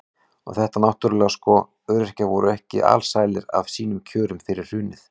Og þetta náttúrulega sko, öryrkjar voru ekki alsælir af sínum kjörum fyrir hrunið.